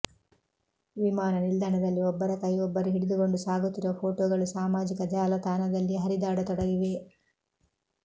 ವಿಮಾನ ನಿಲ್ದಾಣದಲ್ಲಿ ಒಬ್ಬರ ಕೈ ಒಬ್ಬರು ಹಿಡಿದುಕೊಂಡು ಸಾಗುತ್ತಿರುವ ಫೋಟೋಗಳು ಸಾಮಾಜಿಕ ಜಾಲತಾಣದಲ್ಲಿ ಹರಿದಾಡತೊಡಗಿವೆ